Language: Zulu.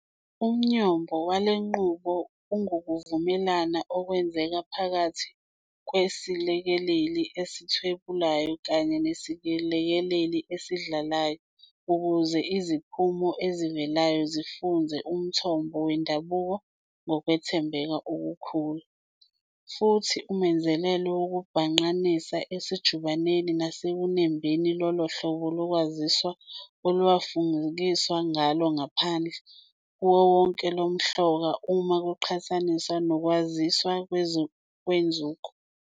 Umnyombo walenqubo ungukuvumelana okwenzeka phakathi kwesilekeleli esithwebulayo kanye nesilekeleli esidlalayo ukuze iziphumo ezivelayo zifuze umthombo wendabuko ngokwethembeka okukhulu, futhi umenzelelo wokubhangqanisa usejubaneni nasekunembeni lolohlobo lokwaziswa olungafufikiswa ngalo ngaphandle kokuwohloka uma kuqhathaniswa nokwaziswa kwenzuko.